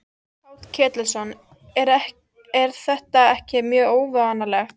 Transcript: Páll Ketilsson: En er þetta ekki mjög óvanalegt?